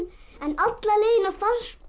en alla leiðina fannst